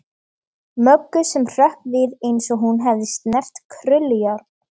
Möggu sem hrökk við eins og hún hefði snert krullujárn.